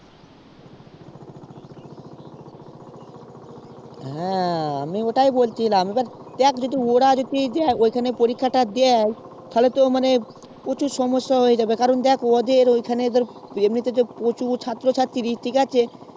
ও আমি ওটাই বলছিলাম এবার দেখ োর যদি ওখানেই পরীক্ষা দেয় তাহলে তো মানে প্রচুর সমস্যা হয়ে যাবে ওদের ওখানে তো অনেক ছাত্র ছাত্রীরা ঠিকআছে